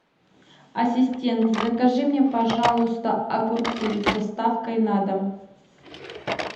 ассистент закажи мне пожалуйста огурцы с доставкой на дом